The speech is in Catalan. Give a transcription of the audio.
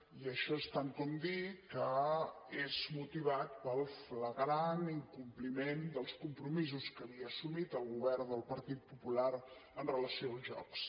i això és tant com dir que és motivat pel flagrant incompliment dels compromisos que havia assumit el govern del partit popular amb relació als jocs